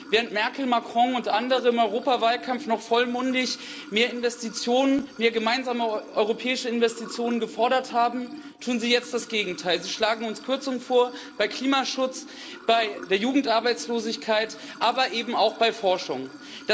Während Merkel, Macron und andere im Europawahlkampf noch vollmundig mehr Investitionen, mehr gemeinsame europäische Investitionen gefordert haben, tun sie jetzt das Gegenteil Sie schlagen uns Kürzungen beim Klimaschutz, bei der Jugendarbeitslosigkeit, aber eben auch bei Forschung vor.